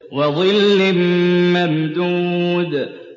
وَظِلٍّ مَّمْدُودٍ